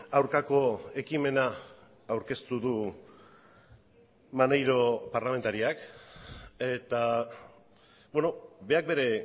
aurkako ekimena aurkeztu du maneiro parlamentariak eta berak bere